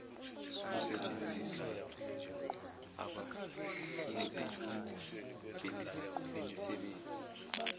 kusetshenziswe abahlinzeki bemisebenzi